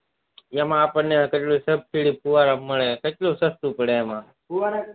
જેમાં આપણને સબસીડી ફુવારા મળે એમાં સસ્તું પડે એમાં